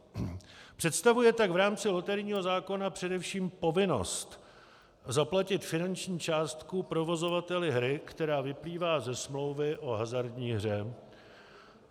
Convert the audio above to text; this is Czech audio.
Představuje tak v rámci loterijního zákona především povinnost zaplatit finanční částku provozovateli hry, která vyplývá ze smlouvy o hazardní hře.